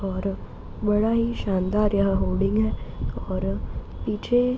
और बड़ा ही शानदार यहाँ होर्डिंग है और पीछे --